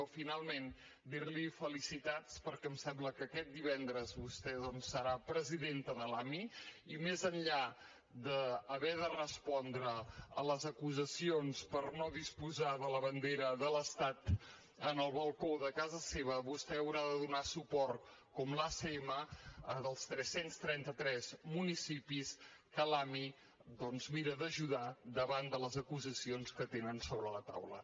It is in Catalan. o finalment dir li felicitats perquè em sembla que aquest divendres vostè doncs serà presidenta de l’ami i més enllà d’haver de respondre a les acusacions per no disposar de la bandera de l’estat en el balcó de casa seva vostè haurà de donar suport com l’acm als tres cents i trenta tres municipis que l’ami mira d’ajudar davant de les acusacions que tenen sobre la taula